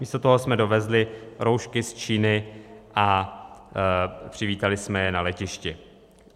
Místo toho jsme dovezli roušky z Číny a přivítali jsme je na letišti.